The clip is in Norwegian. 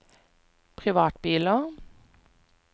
privatbiler